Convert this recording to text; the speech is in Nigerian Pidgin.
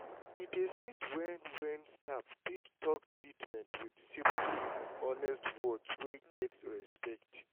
e dey sweet when when staff fit talk treatment with simple and honest words wey get respect.